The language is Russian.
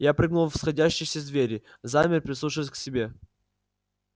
я прыгнул в сходящиеся двери замер прислушиваясь к себе